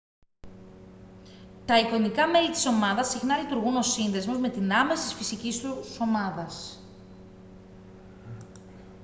τα εικονικά μέλη της ομάδας συχνά λειτουργούν ως σύνδεσμος με την άμεσης φυσικής τους ομάδας